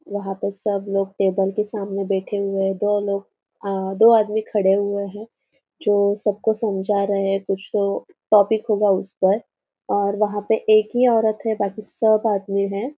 वंहा पे सब कोई टेबल के सामने बैठे हुए है दो लोग अ दो आदमी टेबल खड़े हुए है जो सबको समझा रहे है कुछ जो टॉपिक होगा उस पर और वंहा पे एक ही औरत है बाकी सब आदमी है।